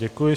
Děkuji.